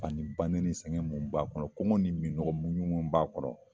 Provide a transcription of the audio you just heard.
Ani ba nɛni sɛgɛn mun b'a kɔnɔ , kɔngɔ ni minɔgɔ muɲu mun b'a kɔnɔ